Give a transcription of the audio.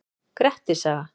Grettis saga.